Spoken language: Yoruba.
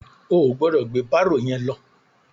O ò gbọdọ̀ gbé bárò yẹn lọ.